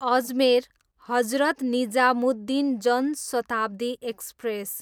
Ajmer, Hazrat Nizamuddin Jan Shatabdi express